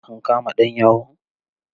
An kama ɗan yahun?